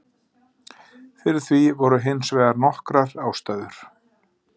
Fyrir því voru hins vegar nokkrar ástæður.